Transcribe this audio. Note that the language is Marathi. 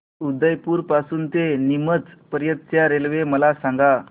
उदयपुर पासून ते नीमच पर्यंत च्या रेल्वे मला सांगा